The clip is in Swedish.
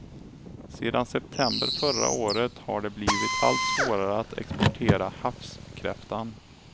Sedan september förra året har det blivit allt svårare att exportera havskräftan.